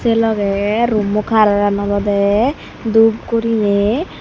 se loge rummo kalar alawde dup gurinei.